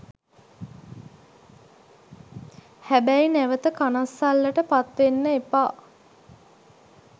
හැබැයි නැවත කනස්සල්ලට පත් වෙන්න එපා